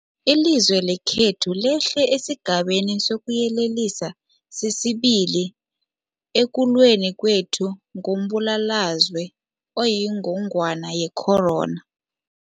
Ilizwe lekhethu lehlele esiGabeni sokuYelelisa sesi-2 ekulweni kwethu nombulalazwe oyingogwana ye-corona.